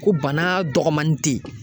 Ko bana dɔgɔnin te yen.